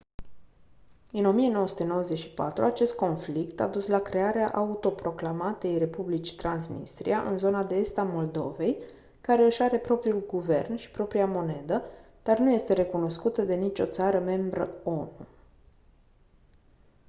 în 1994 acest conflict a dus la crearea autoproclamatei republici transnistria în zona de est a moldovei care își are propriul guvern și propria monedă dar nu este recunoscută de nicio țară membră onu